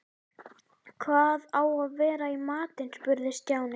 Hvað á að vera í matinn? spurði Stjáni.